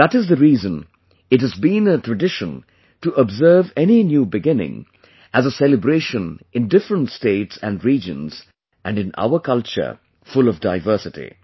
That is the reason it has been a tradition to observe any new beginning as a celebration in different states and regions and in our culture full of diversity